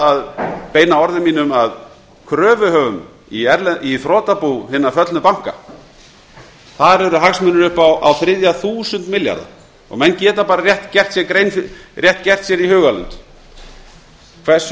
að beina orðum mínum til kröfuhafa í þrotabú hinna föllnu banka þar eru hagsmunir upp á á þriðja þúsund milljarða menn geta bara rétt gert sér í hugarlund hversu